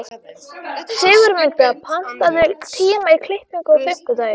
Sigurmunda, pantaðu tíma í klippingu á fimmtudaginn.